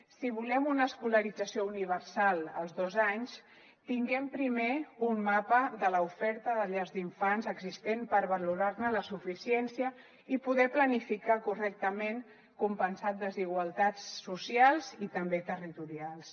si volem una escolarització universal als dos anys tinguem primer un mapa de l’oferta de llars d’infants existent per valorar ne la suficiència i poder planificar correctament compensar desigualtats socials i també territorials